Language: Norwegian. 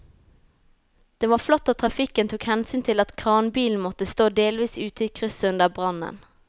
Det var flott at trafikken tok hensyn til at kranbilen måtte stå delvis ute i krysset under brannen.